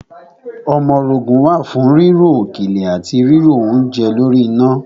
Ọmọrogùn wà fún ríro òkèlè àti ríro oúnje lórí iná.